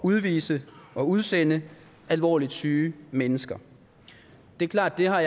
udvise og udsende alvorligt syge mennesker det er klart at jeg har